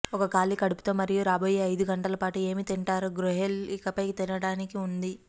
ఒక ఖాళీ కడుపుతో మరియు రాబోయే ఐదు గంటల పాటు ఏమీ తింటారు గ్రూయెల్ ఇకపై తినడానికి ఉంది